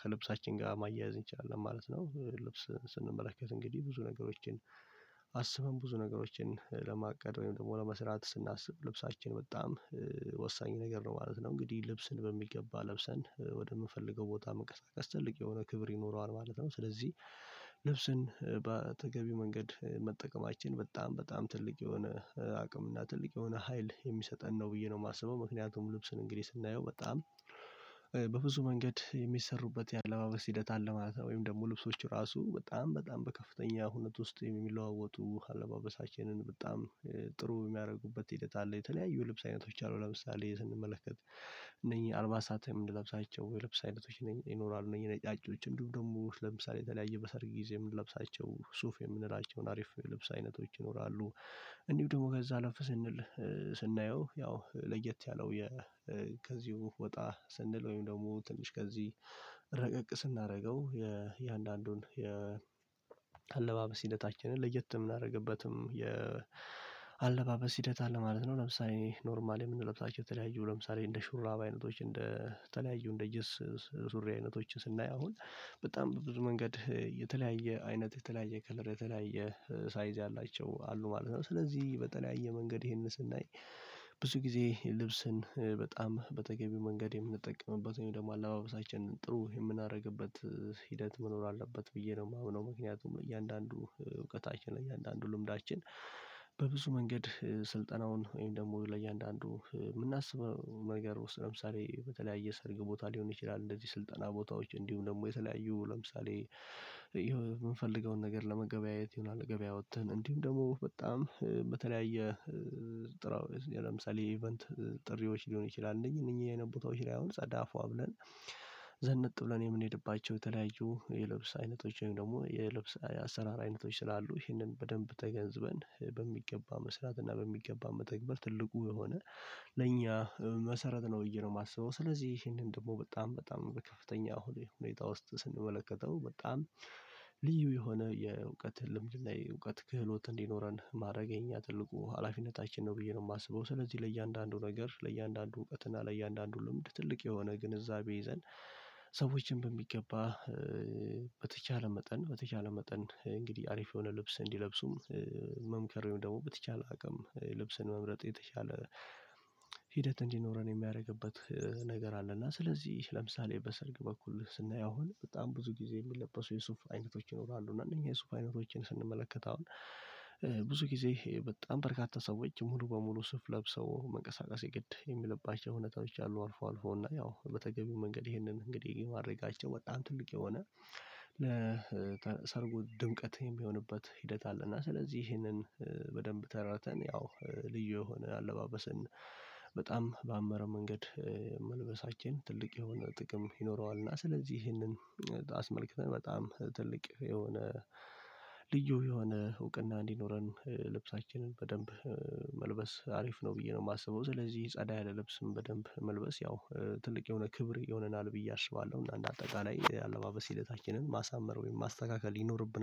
ከልብሳችን ጋር ማያያዝ እንችላለን ማለት ነው። ልብስ ስንመለከት እንግዲህ ብዙ ነገሮችን አስበን ብዙ ነገሮችን ለማቀድ ወይም ደግሞ ለመስራት ስናስብ ልብሳችን በጣም ወሳኝ ነገር ነው ማለት ነው እንግዲህ ልብስን በሚገባ ለብሰን ወደምፈልገው ቦታ መንቀሳቀስ ትልቅ የሆነ ክብር ይኖረዋል ማለት ነው። ስለዚህ ልብስን በተገቢ መንገድ መጠቀማችን በጣም በጣም ትልቅ የሆነ አቅም እና ትልቅ የሆነ ሀይል የሚሰጠን ነው ብዬ ነው የማስበው ምክንያቱም ልብስን እንግዲህ ስናየው በጣም በብዙ መንገድ የሚሰሩበት የአለባበስ ሂደት አለ ማለት ነው። ወይም ደግሞ ልብሶች ራሱ በጣም በጣም በከፍተኛ ሁኔታ ውስጥ የሚለዋወጡ አለባበሳችንን በጣም ጥሩ የሚያደርጉበት ሂደት አለ የተለያዩ ልብስ አይነቶች አሉ ለምሳሌ ስንመለከት እነኚህ አልባሳትም የምንለብሳቸው የልብስ አይነቶች ይኖራሉ እነኚህ ነጫጮች እንዲሁም ደግሞ ለምሳሌ የተለያየ በሰርግ ጊዜ የምንለብሳቸው ሱፍ የምንላቸውን አሪፍ የልብስ አይነቶች ይኖራሉ። እንዲሁ ደግሞ ከዛ አለፍ ስንል ስናየው ያው ለየት ያለው ከዚሁ ወጣ ስንል ወይም ደግሞ ትንሽ ከዚህ ረቀቅ ስናደርገው የእያንዳንዱን የአለባበስ ሂደታችንን ለየት የምናደርግበትም የአለባበስ ሂደት አለ ማለት ነው። ለምሳሌ ኖርማል የምንለብሳቸው የተለያየው ለምሳሌ እንደ ሹራባ አይነቶች እንደ ተለያዩ እንደ ጅንስ ሱሪ አይነቶችን ስናየው አሁን በጣም ብዙ መንገድ የተለያየ አይነት የተለያየ ከለር የተለያየ ሳይዝ ያላቸው አሉ ማለት ነው። ስለዚህ በተለያየ መንገድ ይሄንን ስናይ ብዙ ጊዜ ልብስን በጣም በተገቢ መንገድ የምንጠቀምበት ወይም ደግሞ አለባበሳችንን ጥሩ የምናደርግበት ሂደት መኖር አለበት ብዬ ነው የማምነው። ምክንያቱም እያንዳንዱ እውቀታችን እያንዳንዱ ልምዳችን በብዙ መንገድ ስልጠናውን ወይም ደግሞ ለእያንዳንዱ የምናስበው ነገር ለምሳሌ በተለያየ ሰርግ ቦታ ሊሆን ይችላል እንደዚህ ስልጠና ቦታዎች እንዲሁም ደግሞ የተለያዩ ለምሳሌ የምንፈልገውን ነገር ለመገበያየት ይሆናል ገበያ እንዲሁም ደግሞ በጣም በተለያየ ጥራው ለምሳሌ ኢቨንት ጥሪዎች ሊሆን ይችላል። እነኝ እነኝ አይነት ቦታዎች ላይ አሁን ጸዳ ፎአ ብለን ዘነጥ ብለን የምንሄድባቸው የተለያዩ የልብስ አይነቶች ወይም ደግሞ የልብስ አሰራር አይነቶች ስላሉ ይህንን በደንብ ተገንዝበን በሚገባ መስራት እና በሚገባ መተግበር ትልቁ የሆነ ለእኛ መሰረት ነው ብዬ ነው የማስበው። ስለዚህ ይሄንን ደግሞ በጣም በጣም በከፍተኛ ሁኔታ ውስጥ ስንመለከተው በጣም ልዩ የሆነ የእውቀት ልምድ ላይ እውቀት ክህሎት እንዲኖረን ማድረግ የኛ ትልቁ ሀላፊነታችን ነው ብዬ ነው የማስበው። ስለዚህ ለእያንዳንዱ ነገር ለእያንዳንዱ እውቀት ለእያንዳንዱ ልምድ ትልቅ የሆነ ግንዛቤ ይዘን ሰዎችን በሚገባ በተቻለ መጠን በተቻለ መጠን እንግዲህ አሪፍ የሆነ ልብስ እንዲለብሱም መምከር ወይም ደግሞ በተቻለ አቅም ልብስን መምረጥ የተሻለ ሂደት እንዲኖረን የሚያደርግበት ነገር አለና። ስለዚህ ለምሳሌ በሰርግ በኩል ስናየው አሁን በጣም ብዙ ጊዜ የሚለበሱ የሱፍ አይነቶች ይኖራሉ እነኚህ የሱፍ አይነቶችን ስንመለከት ብዙ ጊዜ በጣም በርካታ ሰዎች ሙሉ በሙሉ ሱፍ ለብሰው መንቀሳቀስ የግድ የሚልባቸው እውነታዎች አሉ አልፎ አልፎ እና ያው በተገቢው መንገድ ይሄንን እንግዲህ ማድረጋቸው በጣም ትልቅ የሆነ ለሰርጉ ድምቀት የሚሆንበት ሂደት አለ። እና ስለዚህ ይህንን በደንብ ተራተን ያው ልዩ የሆነ አለባበሰን በጣም በአመራ መንገድ መልበሳችን ትልቅ የሆነ ጥቅም ይኖረዋል። እና ስለዚህ ይሄንን አስመልክተን በጣም ትልቅ የሆነ ልዩ የሆነ እውቅና እንዲኖረን ልብሳችንን በደንብ መልበስ አሪፍ ነው ብዬ ነው የማስበው። ስለዚህ ጻዳ ያለ ልብስም በደንብ መልበስ ያው ትልቅ የሆነ ክብር ይሆነናል ብዬ አስባለሁ። እና እንደ አጠቃላይ የአለባበስ ሂደታችንን ማሳመር ወይም ማስተካከል ይኖርብናል